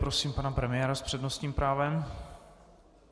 Prosím pana premiéra s přednostním právem.